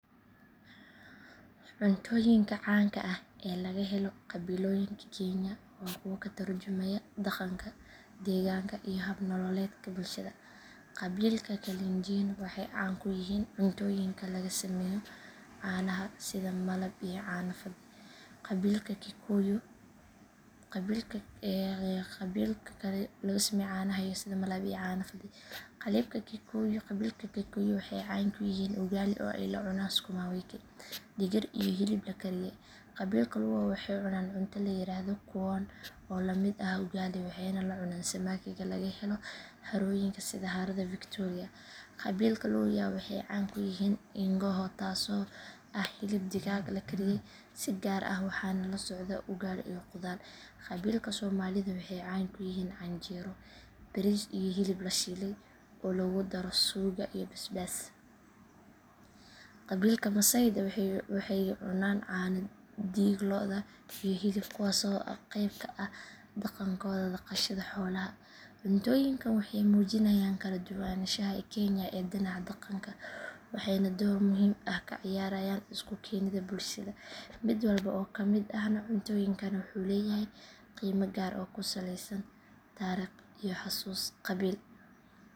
Cuntooyinka caanka ah ee laga helo qabiilooyinka kenya waa kuwo ka turjumaya dhaqanka, deegaanka iyo hab nololeedka bulshada. Qabiilka kalenjin waxay caan ku yihiin cuntooyinka laga sameeyo caanaha sida malaab iyo caano fadhi. Qabiilka kikuyu waxay caan ku yihiin ugali oo ay la cunaan sukuma wiki, digir iyo hilib la kariyay. Qabiilka luo waxay cunaan cunto la yiraahdo kuon oo la mid ah ugali waxayna la cunaan samakiga laga helo harooyinka sida harada victoria. Qabiilka luhya waxay caan ku yihiin ingoho taasoo ah hilib digaag la kariyay si gaar ah waxaana la socdo ugali iyo khudaar. Qabiilka somalida waxay caan ku yihiin canjeero, bariis iyo hilib la shiilay oo lagu daro suugo iyo basbaas. Qabiilka maasayda waxay cunaan caano, dhiig lo’aad iyo hilib, kuwaas oo qeyb ka ah dhaqankooda dhaqashada xoolaha. Cuntooyinkan waxay muujinayaan kala duwanaanshaha kenya ee dhinaca dhaqanka waxayna door muhiim ah ka ciyaaraan isu keenidda bulshada. Mid walba oo ka mid ah cuntooyinkani wuxuu leeyahay qiime gaar ah oo ku saleysan taariikh iyo xusuus qabiil.